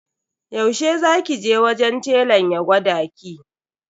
Yaushe za ki je wajen telan ya gwada ki?